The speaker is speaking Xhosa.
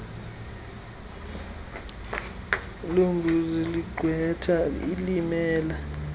lombuso ligqwetha elimela